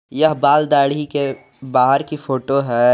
यह बाल दाढ़ी के बाहर की फोटो है।